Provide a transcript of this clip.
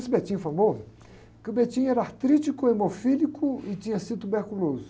Esse é famoso, que o era artrítico, hemofílico e tinha sido tuberculoso.